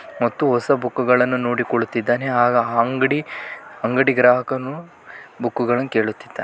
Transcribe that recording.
ಮತ್ತು ಹೊಸ ಬುಕ್ಕುಗಳನ್ನು ನೋಡಿಕೊಳ್ಳುತ್ತಿದ್ದಾನೆ ಅಂಗಡಿ ಅಂಗಡಿ ಗ್ರಾಹಕನು ಬುಕ್ಕುಗಳನ್ನು ಕೇಳುತ್ತಿದ್ದಾನೆ.